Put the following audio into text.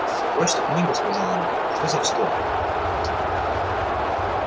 брось эту книгу сказала она что за вздор